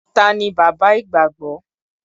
Ta ni bàbá ìgbàgbọ́?